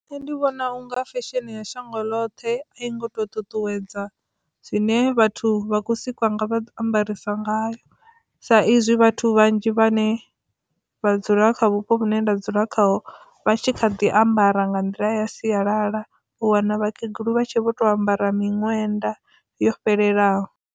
Nṋe ndi vhona unga fesheni ya shango ḽoṱhe a i ngo to ṱuṱuwedza zwine vhathu vha khou sikwa nga vha ambarisa ngayo sa izwi vhathu vhanzhi vhane vha dzula kha vhupo vhune nda dzula kha vha tshi kha ḓi ambara nga nḓila ya sialala u wana vhakegulu vha tshi vho to ambara miṅwenda yo fhelelaho.